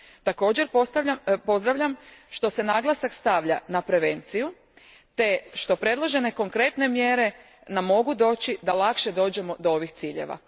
Također pozdravljam što se naglasak stavlja na prevenciju te što predložene konkretne mjere nam mogu doći da lakše dođemo do ovih ciljeva.